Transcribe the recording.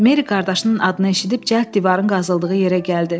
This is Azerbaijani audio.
Meri qardaşının adını eşidib cəld divarın qazıldığı yerə gəldi.